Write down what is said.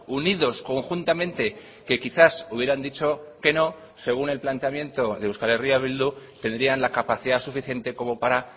unidos conjuntamente que quizás hubieran dicho que no según el planteamiento de euskal herria bildu tendrían la capacidad suficiente como para